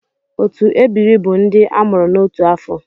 Otu ebiri bu ndị a mụrụ n’otu afọ.